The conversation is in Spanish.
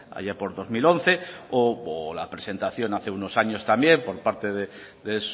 allá por dos mil once o la presentación hace unos años también por parte de